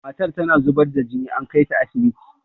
matar tana zubar da jini an kaita asibiti